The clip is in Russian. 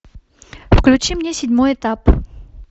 включи мне седьмой этап